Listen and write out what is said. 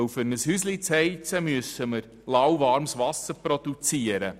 Um ein Haus zu beheizen, müssen wir lauwarmes Wasser produzieren.